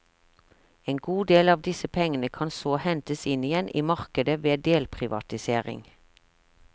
En god del av disse pengene kan så hentes inn igjen i markedet ved delprivatisering.